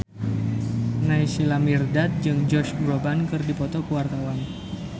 Naysila Mirdad jeung Josh Groban keur dipoto ku wartawan